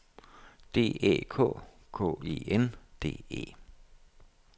D Æ K K E N D E